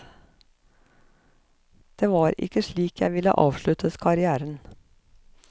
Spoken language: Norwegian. Det var ikke slik jeg ville avslutte karrièren.